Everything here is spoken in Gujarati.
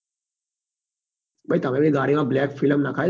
ભાઈ તમે બી ગાડી માં black film નખાઈ દો